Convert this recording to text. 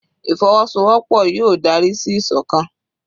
Ìfọwọ́sowọ́pọ̀ yóò dárí sí ìsọ̀kan.